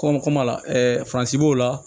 Kɔmi kɔmɔ la faransi b'o la